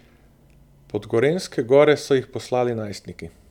Pod gorenjske gore so jih poslali najstniki.